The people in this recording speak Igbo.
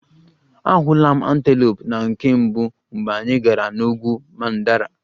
Ahụla m antelope na nke mbụ mgbe anyị gara n'ugwu mandara